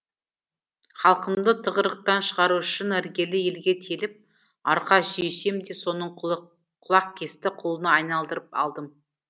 халқымды тығырықтан шығару үшін іргелі елге теліп арқа сүйесем деп соның құлақкесті құлына айналдырып алдым